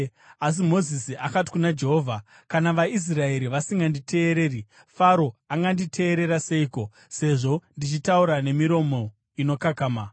Asi Mozisi akati kuna Jehovha, “Kana vaIsraeri vasinganditeereri, Faro anganditeerera seiko, sezvo ndichitaura nemiromo inokakama?”